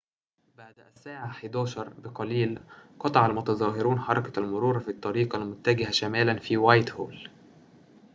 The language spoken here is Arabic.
بعد الساعة 11:00 بقليل قطع المتظاهرون حركة المرور في الطريق المتجه شمالاً في وايتهول